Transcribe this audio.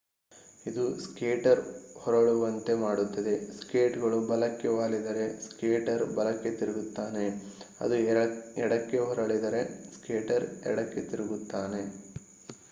ಇದು ಸ್ಕೇಟರ್‌ ಹೊರಳುವಂತೆ ಮಾಡುತ್ತದೆ. ಸ್ಕೇಟ್‌ಗಳು ಬಲಕ್ಕೆ ವಾಲಿದರೆ ಸ್ಕೇಟರ್ ಬಲಕ್ಕೆ ತಿರುಗುತ್ತಾನೆ ಅದು ಎಡಕ್ಕೆ ಹೊರಳಿದರೆ ಸ್ಕೇಟರ್ ಎಡಕ್ಕೆ ತಿರುಗುತ್ತಾನೆ